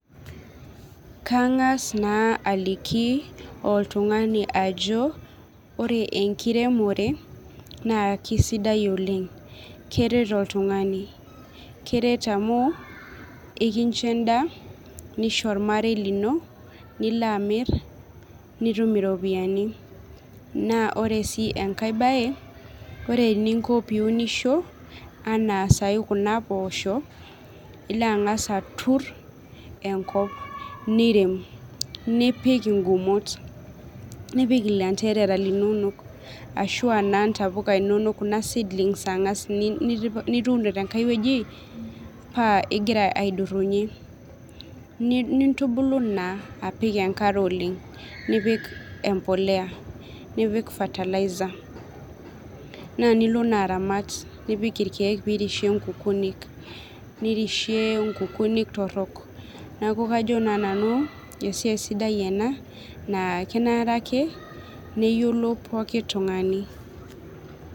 Kang'as naa aliki oltung'ani ajo ore enkiremore naa kisidai oleng keret oltung'ani keret amu ikincho endaa nisho ormarei lino nilo amirr nitum iropiyiani naa ore sii enkae baye ore eninko piunisho anaa sai kuna poosho ilo ang'as aturr enkop nirem nipik ingumot nipik ilanterara ashua naa intapuka inonok kuna seedlings ang'as ni nituuno tenkae wueji paa igira aidurrunyie ni nintubulu naa apik enkare oleng nipik empoleya nipik fertilizer naa nilo naa aramat nipik irkeek pirishie nkukunik nirishie nkukunik torrok naku kajo naa nanu esiai sidai ena naa kenare ake neyiolo poki tung'ani.